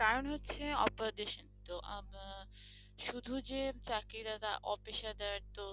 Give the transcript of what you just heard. কারণ হচ্ছে অপেশাদার আহ শুধু যে চাকরিদাতা অপেশাদার তো